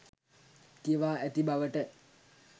කියවා ඇති බවට